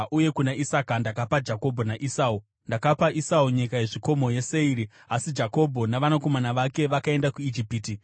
uye kuna Isaka ndakapa Jakobho naEsau. Ndakapa Esau nyika yezvikomo yeSeiri, asi Jakobho navanakomana vake vakaenda kuIjipiti.